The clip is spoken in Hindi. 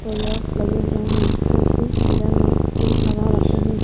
वगैरह लगे हुए हैं जो कि मिरर में सेब लगा रखे हैं।